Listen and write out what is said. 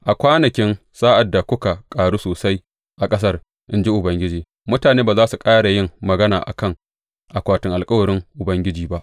A kwanakin, sa’ad da kuka ƙaru sosai a ƙasar, in ji Ubangiji, mutane ba za su ƙara yin magana a kan, Akwatin alkawarin Ubangiji ba.’